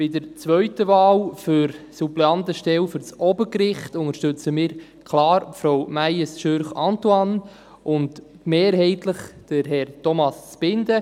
Bei der zweiten Wahl für die Suppleantenstelle für das Obergericht unterstützen wir klar Frau Antonie Meyes Schürch und mehrheitlich Herrn Thomas Zbinden;